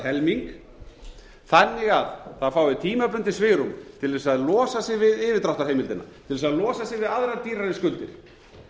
allt að helming þannig að það fái tímabundið svigrúm til þess að losa sig við yfirdráttarheimildina til þess að losa sig við aðrar dýrari skuldir